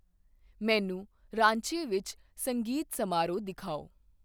ਮੈਨੂੰ ਰਾਂਚੀ ਵਿੱਚ ਸੰਗੀਤ ਸਮਾਰੋਹ ਦਿਖਾਓ